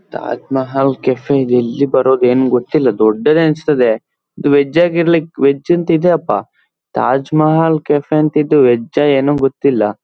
Taj Mahal cafe ಇದು ಎಲ್ಲಿ ಬರೊದು ಏನ್ ಗೊತ್ತಿಲ್ಲ ದೊಡ್ಡದೆ ಅನ್ಸ್ತದೆ ಇದು ವೆಜ್ ಆಗಿರ್ಲಿ ವೆಜ್ ಅಂತಿದೆ ಅಪ್ಪ ತಾಜ್ ಮಹಲ್ ಕೆಫೆ ಅಂತ ಇದು ವೆಜ್ಜಾ ಎನೊ ಗೊತ್ತಿಲ್ಲ.